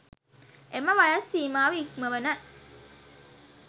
එම වයස් සීමාව ඉක්මවන